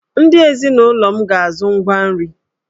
Ndị ezinụlọ m ga-azụ ngwa nri!